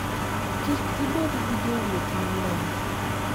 Kik ibed gi jowuoth mang'eny.